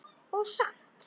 Og samt.